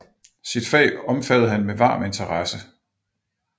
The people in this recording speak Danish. Sit fag omfattede han med varm interesse